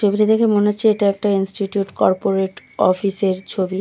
ছবিটা দেখে মনে হচ্ছে এটা একটা ইন্সটিটিউট কর্পোরেট অফিসের ছবি।